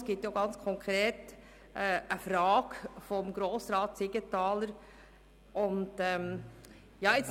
Es ist auch eine konkrete Frage von Grossrat Siegenthaler gestellt worden.